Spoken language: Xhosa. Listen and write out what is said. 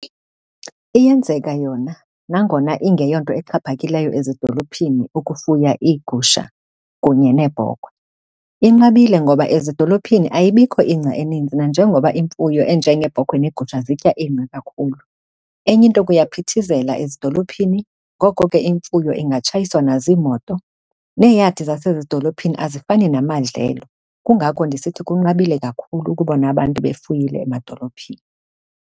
Iyenzeka yona nangona ingeyonto exhaphakileyo ezidolophini ukufuya iigusha kunye neebhokhwe. Inqabile ngoba ezidolophini ayibikho ingca eninzi nanjengoba imfuyo enjengeebhokhwe neegusha zitya ingca kakhulu. Enye into kuyaphithizela ezidolophini, ngoko ke imfuyo ingatshayiswa naziimoto, neeyadi zasezidolophini azifani namadlelo. Kungako ndisithi kunqabile kakhulu ukubona abantu befuyile emadolophini.